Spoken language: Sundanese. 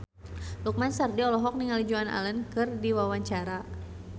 Lukman Sardi olohok ningali Joan Allen keur diwawancara